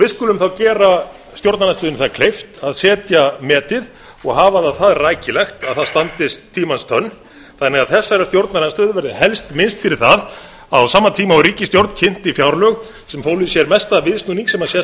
við skulum þá gera stjórnarandstöðunni það kleift að setja metið og hafa það það rækilegt að það standist tímans tönn þannig að þessarar stjórnarandstöðu verði helst minnst fyrir það að á sama tíma og ríkisstjórn kynnti fjárlög sem fólu í sér mesta viðsnúning sem sést hefur